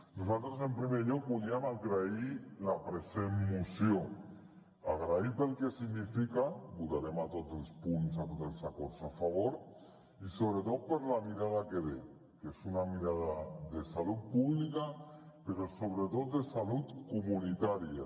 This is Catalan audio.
nosaltres en primer lloc voldríem agrair la present moció agrair la pel que significa votarem a tots els punts a tots els acords a favor i sobretot per la mirada que té que és una mirada de salut pública però sobretot de salut comunitària